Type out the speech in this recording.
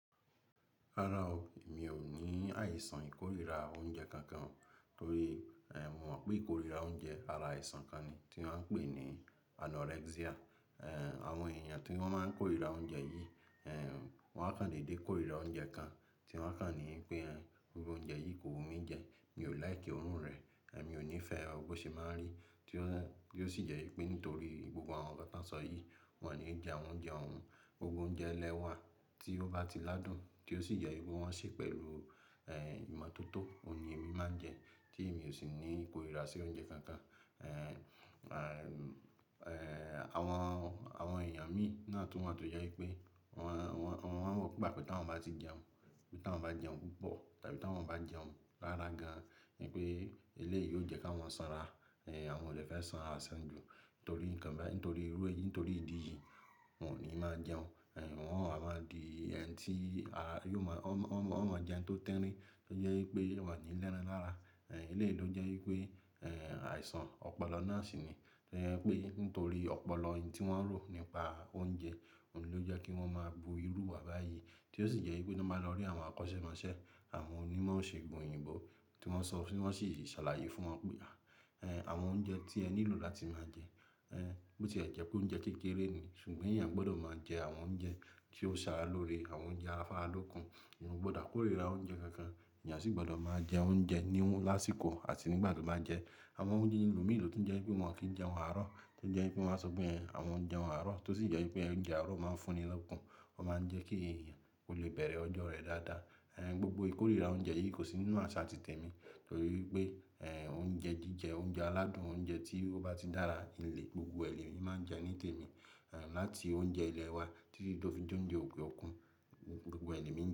Rárá o, mi ò ní àìsàn ìkórìíra oúnjẹ kankan torí mo mọ̀ pé ìkórìíra oúnjẹ ara àìsàn kan ni tí wọ́n ń pè ní anorexia. Awọn èèyàn tí wọ́n máa ń kórìíra oúnjẹ yìí, wọ́n á kan dédé kórìíra oúnjẹ kan tí wọ́n kà ní pé gbogbo oúnjẹ yìí kò wù mí jẹ. Mi ò like orun rẹ̀, mi ò nífẹ̀ẹ́ owó ṣe máa ń rí tí ó sì jẹ́ wípé nítorí gbogbo àwọn nkan tan sọ yìí, wọ́n ò ní jẹ awon oúnjẹ ọ̀hún. Gbogbo oúnjẹ ẹlẹ́wà tí ó bá ti ládùn tí ó sì jẹ́ wipe wọ́n ṣe pẹ̀lú ìmọ́tótó, òun ni èmi máa ń jẹ tí èmi ò sì ní ìkórìíra sí oúnjẹ kankan. Awọn èèyàn mi náà tún wa to je pé wọ́n pàpọ̀ tí wọ́n bá ti jẹun, bí tí wọ́n bá jẹun púpọ̀ tàbí tí wọ́n bá jẹun lára gan-an ni pé eléyìí yóò jẹ́ ká wọ́n sanra. Awọn ò de fẹ́ sanra asan ju nítorí nǹkan bẹ́ẹ̀, nítorí irú èyí, nítorí ìdí yìí wọn ò ní máa jẹun. Wọn a máa di ẹni tí a yóò mọ-- wọn máa jẹun tó tirin tó jẹ́ wípé wọ́n ní léran lára. Eléyìí ló jẹ́ wípé àìsàn ọpọlọ náà sì ni. To ye pé nítorí ọpọlọ yẹn tí wọ́n ń rò nípa oúnjẹ, òun ló jẹ́ kí wọ́n máa bu irú ìwà báyìí tí ó sì jẹ́ wípé tan báa lọ rí àwọn akọ́sẹ́mọsẹ́, àwọn onimo iṣègùn òyìnbó tí wọ́n sọ, tí wọ́n sì ṣàlàyé fún wọn pé àwọn oúnjẹ tí ẹ nílò láti máa jẹ, bó ti ẹ jẹ pé oúnjẹ kékeré ni ṣùgbọ́n èèyàn gbọdọ̀ máa jẹ àwọn oúnjẹ tí ó ṣàára lórí, àwọn oúnjẹ afára lókun. Òun gbọdọ̀ kórìíra oúnjẹ kankan, èèyàn sì gbọdọ̀ máa jẹ oúnjẹ níwọ́n lásìkò àti nígbà tó bá jẹ, àwọn oúnjẹ inú mì ló tún jẹ́ wípé wọ́n kì í jẹ ohùn àárọ̀ tó jẹ́ wípé wọ́n sọ pé àwọn oúnjẹ àárọ̀ tó sì jẹ́ wípé oúnjẹ àárọ̀ O máa ń fún ní lọ́kàn, wọ́n máa ń jẹ́ kí èèyàn ko lè bẹ̀rẹ̀ ọjọ́ rẹ dáadáa. Gbogbo ìkórìíra oúnjẹ yìí kò sí nínú àṣà ti tèmi torí wipé oúnjẹ jíjẹ, oúnjẹ aládùn, oúnjẹ tí ó bá ti dára ni lè gbogbo ẹlẹ́mi máa ń jẹ ní tèmi. Lati oúnjẹ ilẹ̀ wa títí tó fi jẹ oúnjẹ òkè òkun, gbogbo ẹ le mi ń jẹ.